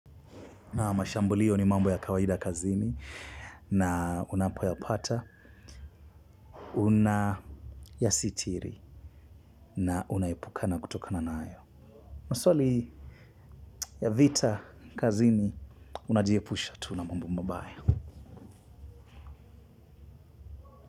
Na mashambulio ni mambo ya kawaida kazini na unapoyapata, unayasitiri na unaepukana kutokana nayo. Maswali ya vita kazini, unajiepusha tu na mambo mabaya.